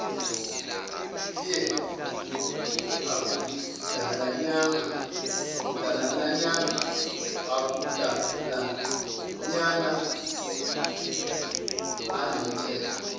fear akudalanyana anomthetho